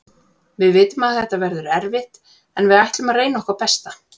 Við vitum að þetta verður erfitt en við ætlum að reyna okkar besta.